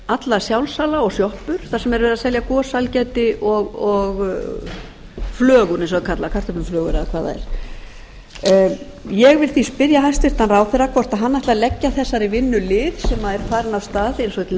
alla sjálfsala og sjoppur þar sem verið er að selja gos sælgæti og flögur eins og það er kallað kartöfluflögur eða hvað það er ég vildi spyrja hæstvirtan ráðherra hvort hann ætlar að leggja þessari vinnu lið sem er farin af stað eins og til